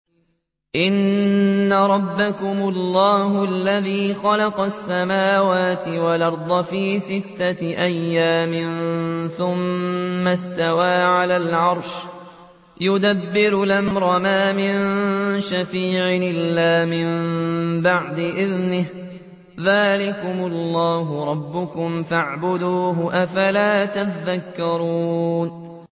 إِنَّ رَبَّكُمُ اللَّهُ الَّذِي خَلَقَ السَّمَاوَاتِ وَالْأَرْضَ فِي سِتَّةِ أَيَّامٍ ثُمَّ اسْتَوَىٰ عَلَى الْعَرْشِ ۖ يُدَبِّرُ الْأَمْرَ ۖ مَا مِن شَفِيعٍ إِلَّا مِن بَعْدِ إِذْنِهِ ۚ ذَٰلِكُمُ اللَّهُ رَبُّكُمْ فَاعْبُدُوهُ ۚ أَفَلَا تَذَكَّرُونَ